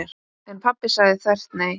En pabbi sagði þvert nei.